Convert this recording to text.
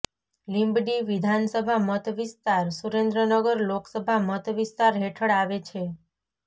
લીંબડી વિધાનસભા મત વિસ્તાર સુરેન્દ્રનગર લોકસભા મત વિસ્તાર હેઠળ આવે છે